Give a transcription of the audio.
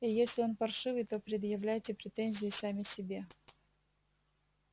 и если он паршивый то предъявляйте претензии сами себе